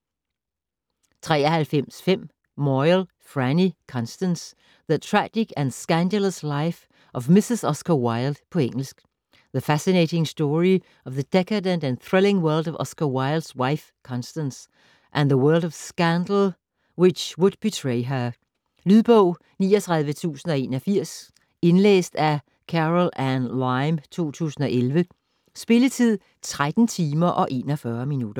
93.5 Moyle, Franny: Constance: the tragic and scandalous life of Mrs Oscar Wilde På engelsk. The fascinating story of the decadent and thrilling world of Oscar Wilde's wife Constance, and the world of scandal which would betray her. Lydbog 39081 Indlæst af Carolanne Lyme, 2011. Spilletid: 13 timer, 41 minutter.